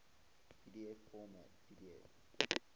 pdf format pdf